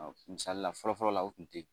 Misali la fɔlɔ fɔlɔ la u tun tɛ